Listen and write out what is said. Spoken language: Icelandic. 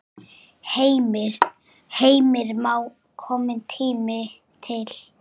Heimir Már: Kominn tími til?